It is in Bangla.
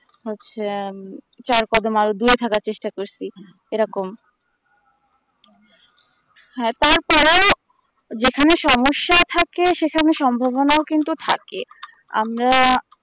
হচ্ছে আম চার কাদমা আগে দূরে থাকার চেষ্টা করছি সেইরকম হ্যাঁ তারপরেও যেখানে সমস্যা থাকে সেখানে সম্ভবনা কিন্তু থাকে আমরা